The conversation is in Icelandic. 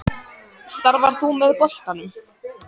Starfar þú með boltanum?